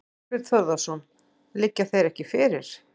Þorbjörn Þórðarson: Liggja þeir ekki fyrir?